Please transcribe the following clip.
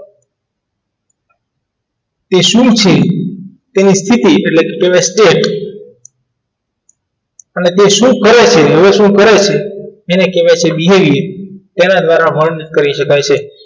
તે શું છે તેને તેની સીટી એટલે state અને તે શું કરે છે એ શું કરે છે એને કહેવાય તેના દ્વારા fold કરી શકાય છે